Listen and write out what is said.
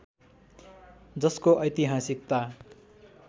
जसको ऐतिहासिकता